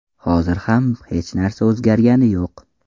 Hozir ham hech narsa o‘zgargani yo‘q.